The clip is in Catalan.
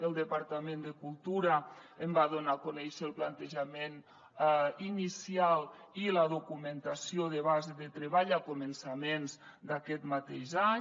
el departament de cultura en va donar a conèixer el plantejament inicial i la documentació de base de treball a començaments d’aquest mateix any